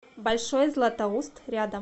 большой златоуст рядом